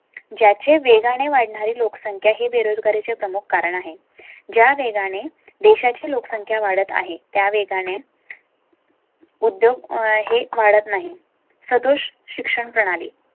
ज्या चे वेगाने वाढ णारी लोकसंख्या हे बेरोजगारी चे प्रमुख कारण आहे. ज्या वेगाने देशा ची लोकसंख्या वाढत आहे त्या वेगाने उद्योग हे वाढत नाही. संतोष शिक्षण प्रणाली